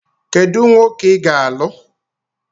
Kedu nwoke ị ga-alụ?